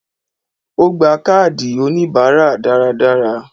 Ó gba káàdì oníbáárà dáradára